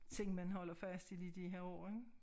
Tænk man holder fast i det i de her år ikke